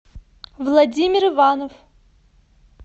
владимир иванов